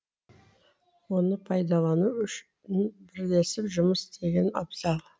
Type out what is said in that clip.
оны пайдалану үшін бірлесіп жұмыс істеген абзал